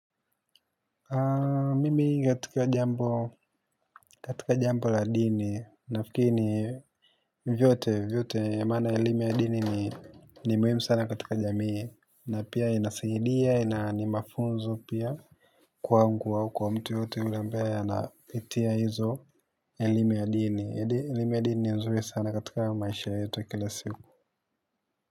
Mimi ingetokea jambo katika jambo la dini nafikiri vyote vyote maana elime ya dini ni muhimu sana katika jamii na pia inasaidia ina ni mafunzo pia kwangu au kwa mtu yoyote yule ambaye anapitia hizo elimu ya dini elimu ya dini ni nzuri sana katika maisha yeto ya kila siku.